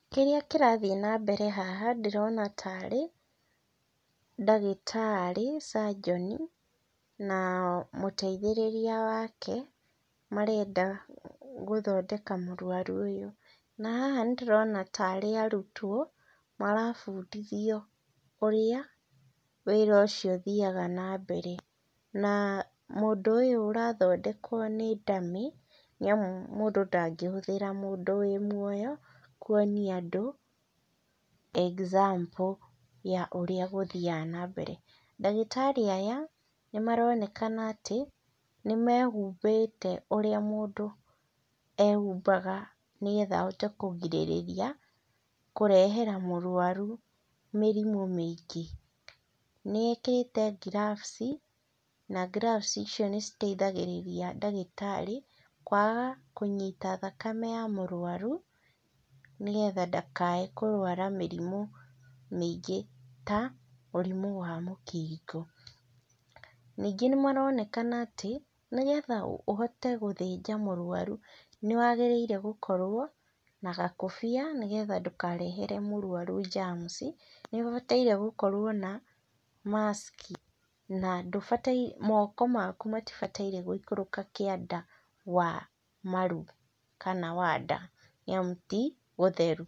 Kĩrĩa kĩrathiĩ nambere haha, ndĩrona tarĩ ndagĩtarĩ, surgeon na, mũteithĩrĩria wake, marenda gũthondeka mũrwaru ũyũ, na haha nĩndĩrona tarĩ arutwo marabundithio ũrĩa, wĩra ũcio ũthiaga nambere, na mũndũ ũyũ ũrathondekwo nĩ dummy nĩamu mũndũ ndangĩhũthĩra mũndũ wĩ muoyo, kuonia andũ example ya ũrĩa gũthiaga nambere, ndagĩtarĩ aya, nĩmaronekana atĩ, nĩmehumbĩte ũrĩa mũndũ ehumbaga nĩgetha ahote kũgirĩrĩria kũrehera mũrwaru mĩrimũ mĩingĩ, nĩekĩrĩte ngirabuci, na ngirabuci icio nĩciteithagĩrĩria ndagĩtarĩ kwaga kũnyita thakame ya mũrwaru, nĩgetha ndakae kũrwara mĩrimũ mĩingĩ ta, mũrimũ wa mũkingo, ningĩ nĩmaronekana atĩ, nĩgetha ũhote gũthĩnja mũrwaru, nĩwagĩrĩirwo nĩgũkorwo na gakobia, nĩgetha ndũkarehere mũrwaru [cs[ germs, nĩũbatarire ũkorwo na mask na ndũbataire moko maku matibataire gũikũrũka kĩanda wa maru kana wa ndaa, nĩamu ti gũtheru.